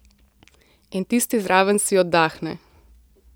In tisti zraven si oddahne.